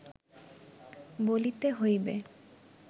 বলিতে হইবে